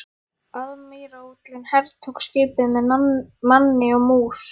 Aðmírállinn hertók skipið með manni og mús.